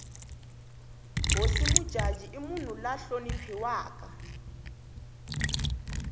hosi mujaji i munhu la hloniphiwaka